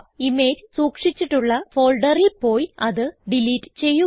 image സൂക്ഷിചിട്ടുള്ള ഫോൾഡറിൽ പോയി അത് ഡിലീറ്റ് ചെയ്യുക